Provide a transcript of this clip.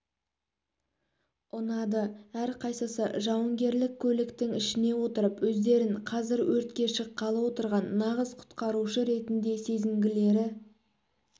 ұнады әрқайсысы жауынгерлік көліктің ішіне отырып өздерін қазір өртке шыққалы отырған нағыз құтқарушы ретінде сезінгілері